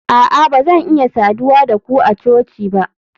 a'a ba zan iya saduwa da ku a coci ba